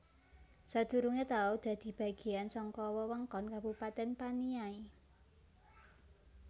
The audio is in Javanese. Sadurungé tau dadi bagéyan saka wewengkon Kabupatèn Paniai